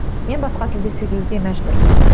мен басқа тілде сөйлеуге мәжбүрмін